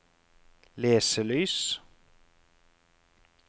leselys